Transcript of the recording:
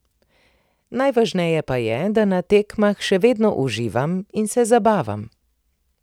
Najvažneje pa je, da na tekmah še vedno uživam in se zabavam.